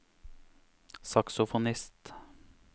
saksofonist